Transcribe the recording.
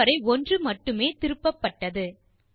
இது வரை ஒன்று மட்டுமே திருப்பப்பட்டது